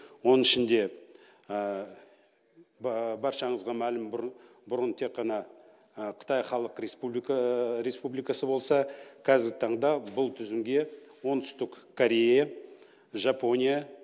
оның ішінде баршаңызға мәлім бұрын бұрын тек қана қытай халық республикасы болса кәзіргі таңда бұл тізімге оңтүстік корея жапония